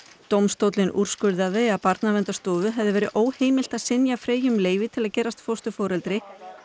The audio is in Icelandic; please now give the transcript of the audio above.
dómstóllinn úrskurðaði að Barnaverndarstofu hefði verið óheimilt að synja Freyju um leyfi til að gerast fósturforeldri